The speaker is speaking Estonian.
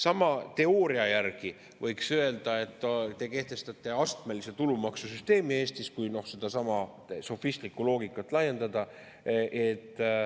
Sama teooria järgi võiks öelda, et te kehtestate Eestis astmelise tulumaksu süsteemi, kui sedasama sofistlikku loogikat laiendada.